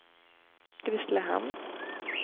Grisslehamn